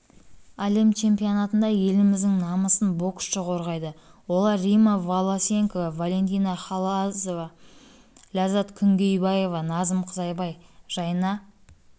әлем чемпионатында еліміздің намысын боксшы қорғайды олар римма волосенко валентина хальзова ләззат күнгейбаева назым қызайбай жайна